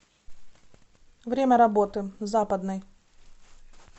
время работы западный